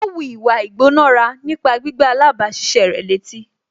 Ó wu ìwà ìgbónára nípa gbígbá alábàáṣiṣé rẹ̀ létí